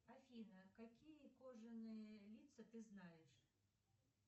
афина какие кожаные лица ты знаешь